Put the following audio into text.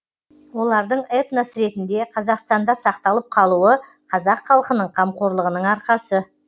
олардың этнос ретінде қазақстанда сақталып қалуы қазақ халқының қамқорлығының арқасы